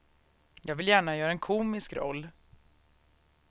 Jag vill gärna göra en komisk roll.